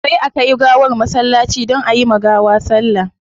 Sai a kai gawar masallaci don ayi ma gawa sallah